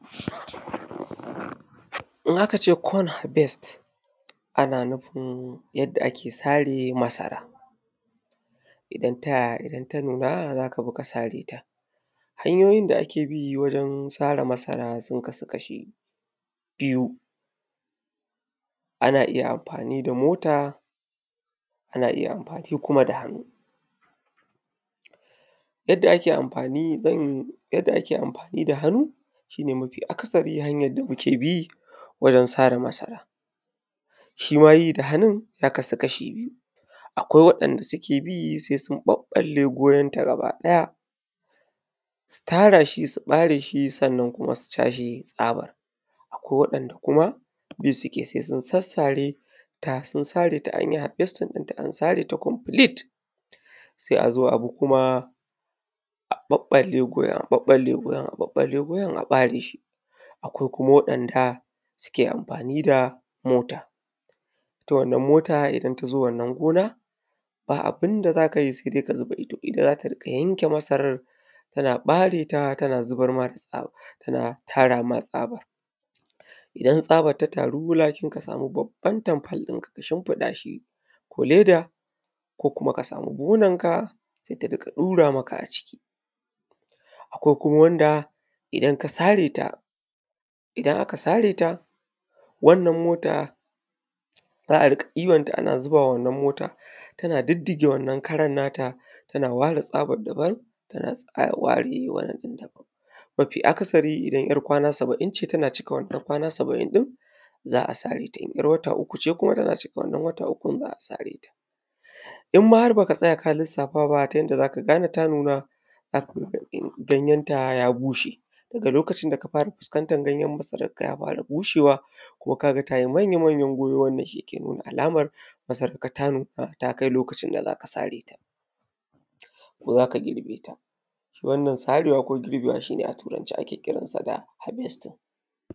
In aka ce corn harvest, ana nufin yadda ake sare masara. Idan ta nuna za ka bi ka sare ta. Hanyoyin da ake bi wajen sare masara sun kasu kashi biyu; biyu; ana iya amfani da mota; ana iya amfani kuma da hannu. Yadda ake amfani da Yadda ake amfani da hannu shi ne mafi akasari hanyar da muke bi wajen sare masara. Shi ma yi da hannun, ya kasu kashi biyu; akwai waɗanda suke bi sai sun ɓaɓɓalle gonanta gabaɗaya, su tara shi su ɓare shi sannan kuma su cashe tsabar. Akwai waɗanda kuma, bi suke sai su sassare ta sun sare ta an yi harvesting ɗinta an sare ta complete, sai a zo a bi kuma, a ɓaɓɓalle gonar, ɓaɓɓalle gonar, ɓaɓɓalle gonar, a ɓare shi. Akwai kuma waɗanda suke amfani da mota. Ita wannan mota idan ta zo wannan gona, ba abin da za ka yi sai dai ka zuba ido. Ita za ta riƙa yanke masarar tana ɓare ta tana zubar ma da tsaba, tana tara ma tsaba. Idan tsabar ta taru, lakin ka samu babban tamfol ɗinka ka shimfiɗa shi, ko leda, ko kuma ka samu buhuna sai ta riƙa ɗura maka a ciki. Akwai kuma wanda idan ka sare ta, idan aka sare ta, wannan mota za a riƙa ɗiban ta ana zuba wa wannan mota, tana diddige wannan karan nata, tana ware tsabar daban, tana ware wannan ɗin daban. Mafi akasari idan `yar kwana saba’in ce tana cika wannan kwana saba’in ɗin, za a sare ta. In `yar wata uku ce kuma, tana cika wannan wata ukun za a sare ta. In ma har ba ka tsaya ka lissafa ba ta yanda za ka gane ta nuna, za ka rinƙa ganin ganyenta ya bushe. Da lokacin da ka fara fuskantar ganyen masararka ya fara bushewa, kuma ka ga ta yi manya-manyan goyo, wannan shi ke nuna alamar masararka ta nuna ta kai lokacin da za ka sare ta, ko za ka girbe ta. Shi wannan sarewa ko girbewa shi ne a Turance shi ake kiran sa da ‘harvest’.